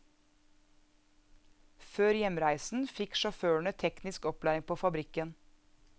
Før hjemreisen fikk sjåførene teknisk opplæring på fabrikken.